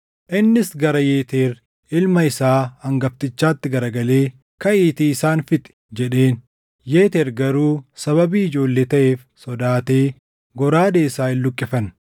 Innis gara Yeteer ilma isaa hangaftichaatti garagalee, “Kaʼiitii isaan fixi!” jedheen. Yeeteer garuu sababii ijoollee taʼeef sodaatee goraadee isaa hin luqqifanne.